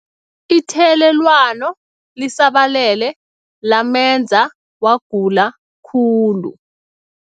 Ithelelwano lisabalele lamenza wagula khulu.